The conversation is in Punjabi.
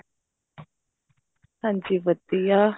ਹਾਂਜੀ ਵਧੀਆ